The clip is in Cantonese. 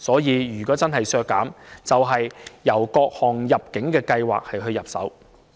如果真的要削減開支的話，就應該從各項入境計劃入手。